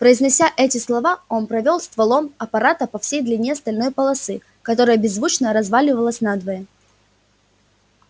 произнося эти слова он провёл стволом аппарата по всей длине стальной полосы которая беззвучно развалилась надвое